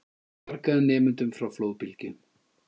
Bjargaði nemendum frá flóðbylgju